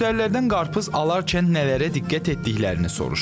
Müştərilərdən qarpız alarkən nələrə diqqət etdiklərini soruşduq.